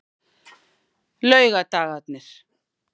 laugardagarnir